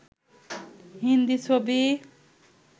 হিন্দি ছবি